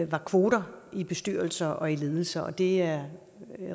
var kvoter i bestyrelser og i ledelser og det er